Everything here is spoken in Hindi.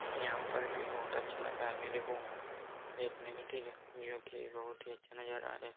यहाँ पर भी बोहोत अच्छा लग रहा मेरे को देखने में ठीक है जो कि बोहोत ही अच्छी नज़रा है।